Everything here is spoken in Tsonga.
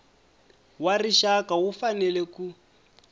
wa rixaka wu fanele ku